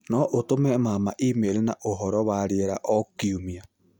no ũtũme mama e-mail na ũhoro wa rĩera o kiumia